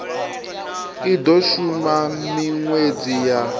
i do shuma minwedzi ya